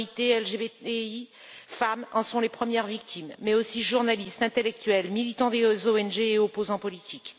Minorités, LGBTI et femmes en sont les premières victimes, mais aussi journalistes, intellectuels, militants des ONG et opposants politiques.